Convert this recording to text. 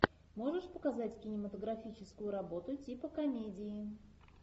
можешь показать кинематографическую работу типа комедии